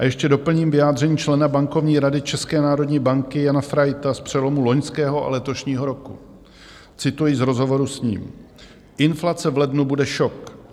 A ještě doplním vyjádření člena bankovní rady České národní banky Jana Fraita z přelomu loňského a letošního roku - cituji z rozhovoru s ním: "Inflace v lednu bude šok.